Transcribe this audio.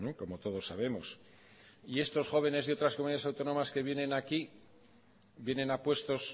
como todos sabemos y estos jóvenes de otras comunidades autónomas que vienen aquí vienen a puestos